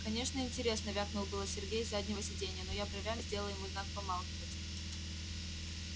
конечно интересно вякнул было сергей с заднего сидения но я бровями сделала ему знак помалкивать